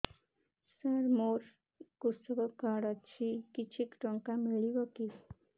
ସାର ମୋର୍ କୃଷକ କାର୍ଡ ଅଛି କିଛି ଟଙ୍କା ମିଳିବ କି